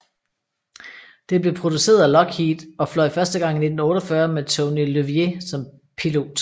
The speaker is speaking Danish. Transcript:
Det blev produceret af Lockheed og fløj første gang i 1948 med Tony LeVier som pilot